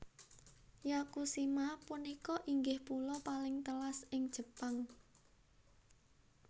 Yakushima punika inggih pulo paling telas ing Jepang